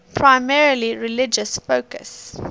primarily religious focus